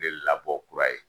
De labɔ kura ye